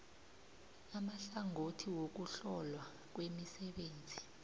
amahlangothi wokuhlolwa kwemisebenzi